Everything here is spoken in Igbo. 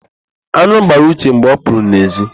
An̄ụ gbara Uche mgbe ọ pụrụ n'èzí.